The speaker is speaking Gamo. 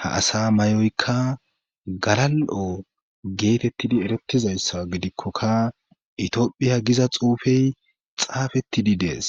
ha asa may,oyka galal,o geetettidi eretizayssa gidikkokka itiophiya giza xuufey xaafettidi dees.